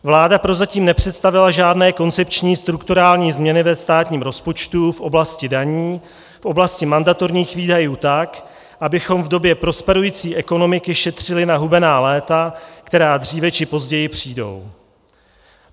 Vláda prozatím nepředstavila žádné koncepční strukturální změny ve státním rozpočtu v oblasti daní, v oblasti mandatorních výdajů tak, abychom v době prosperující ekonomiky šetřili na hubená léta, která dříve či později přijdou.